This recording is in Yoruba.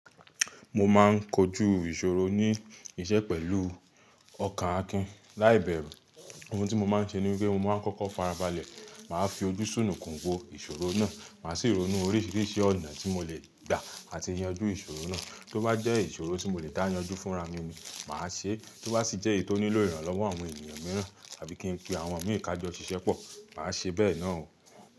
Mo máa ń kojú ìṣòro ní iṣẹ́ pẹ̀lú ọkàn Akin. Láìbẹ́rù, ohun tí mo máa ń ṣe ní wípé mo máa ń kọ́kọ́ farabalẹ̀, màá fi ojú sùnùkun wo ìṣòro náà, màá sì ronú oríṣiríṣi ọ̀nà tí mo lè gbà àti yanjú ìṣòro náà. Tó bá jẹ́ ìṣòro tí mo lè dá yanjú fúnra mi ni, màá ṣe é. Tó bá sì jẹ́ èyí tó nílò ìrànlọ́wọ́ àwọn ènìyàn mìíràn tàbí kí n pe àwọn omíì kájọ ṣìṣẹ́ pọ̀, màá ṣe bẹ́ẹ̀ náà o.